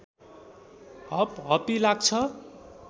हपहपी लाग्छ